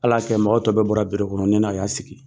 Ala kɛ mɔgɔ tɔw bɛ bɔra biro kɔnɔ ne n'a y'a sigi.